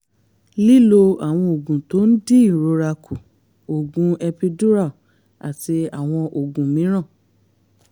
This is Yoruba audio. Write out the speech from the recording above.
lílo àwọn oògùn tó ń dín ìrora kù oògùn epidural àti àwọn oògùn mìíràn